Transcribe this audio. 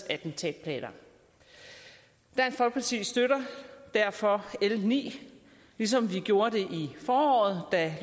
attentatplaner dansk folkeparti støtter derfor l ni ligesom vi gjorde det i foråret da